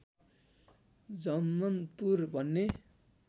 झमन्पुर भन्ने